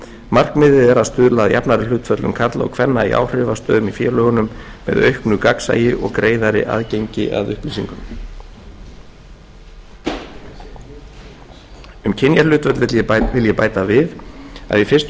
markmiðið er að stuðla að jafnari hlutföllum kvenna og karla í áhrifastöðum í félögunum með auknu gagnsæi og greiðari aðgangi að upplýsingum um kynjahlutföll vil ég bæta við að í fyrstu